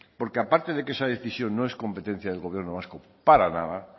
porque aparte de que esa decisión no es competencia del gobierno vasco para nada